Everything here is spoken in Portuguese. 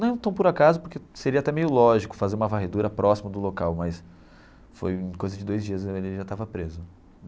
Não tão por acaso, porque seria até meio lógico fazer uma varredura próxima do local, mas foi coisa de dois dias, ele já estava preso.